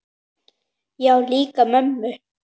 Já, líka mömmu